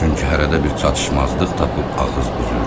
Çünki hərədə bir çatışmazlıq tapıb ağız büzürdü.